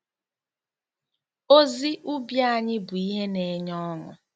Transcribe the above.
Ozi ubi anyị bụ ihe na-enye ọṅụ.